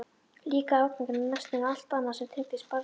Líka afganginn af nestinu og allt annað sem tengdist bardaganum.